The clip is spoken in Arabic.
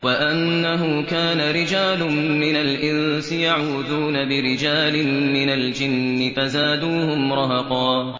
وَأَنَّهُ كَانَ رِجَالٌ مِّنَ الْإِنسِ يَعُوذُونَ بِرِجَالٍ مِّنَ الْجِنِّ فَزَادُوهُمْ رَهَقًا